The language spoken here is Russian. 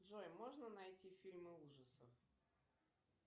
джой можно найти фильмы ужасов